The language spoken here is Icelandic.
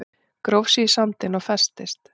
Gróf sig í sandinn og festist